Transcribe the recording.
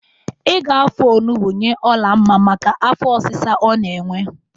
Ị ga-afọ onugbo nye Olamma maka afọ ọsisa ọ na-enwe.